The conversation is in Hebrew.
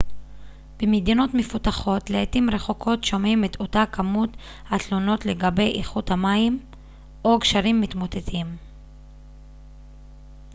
במדינות מפותחות לעתים רחוקות שומעים את אותה כמות התלונות לגבי איכות המים או גשרים מתמוטטים